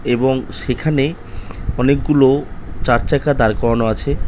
এবং সেখানেই অনেকগুলো চারচাকা দাঁড় করানো আছে ।